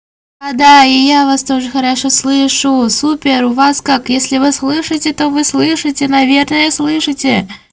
а да и я вас тоже хорошо слышу супер у вас как если вы слышите то вы слышите наверное слышите